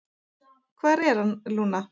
"""Hvar er hann, Lúna?"""